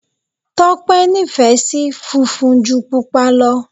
Tọ́pẹ́ nífẹ̀ẹ́ sí funfun ju Pupa lọ.